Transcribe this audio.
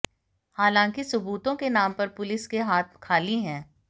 हालांकि सुबूतों के नाम पर पुलिस के हाथ खाली है